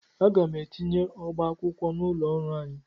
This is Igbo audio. Aga m etinye ọba akwụkwọ n'ụlọ ọrụ anyị.